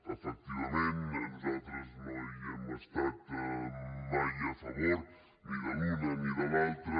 efectivament nosaltres no hi hem estat mai a favor ni de l’una ni de l’altra